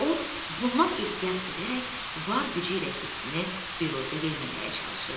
O, bundan ehtiyat edərək var gücü ilə hissini büruzə verməməyə çalışırdı.